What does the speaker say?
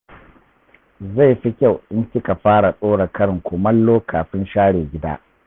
Zai fi kyau in kika fara ɗora karin kumallo kafin share gida.